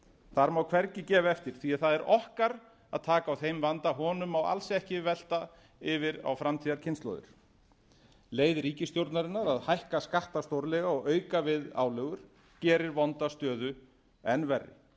þar má hvergi gefa eftir því það er okkar að taka á þeim vanda honum má alls ekki velta yfir á framtíðarkynslóðir leið ríkisstjórnarinnar að hækka skatta stórlega og auka við álögur gerir vonda stöðu enn verri það er